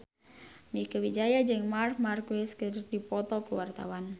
Mieke Wijaya jeung Marc Marquez keur dipoto ku wartawan